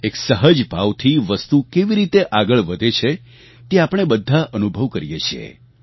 એક સહજ ભાવથી વસ્તુ કેવી રીતે આગળ વધે છે તે આપણે બધા અનુભવ કરીએ છીએ